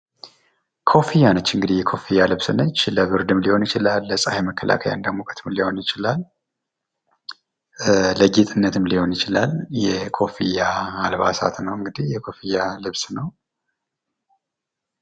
ኮፍያ ነች እንግዲህ የኮፍያ ልብስ ነች። ለብርድም ሊሆን ይችላል፣ ለፀሀይ መከላከያ እንደሙቀትም ሊሆንም ይችላል ፣ለጌጥነትም ሊሆን ይችላል። የኮፍያ አልባሳት ነው እንግዲህ የኮፍያ ልብስ ነው።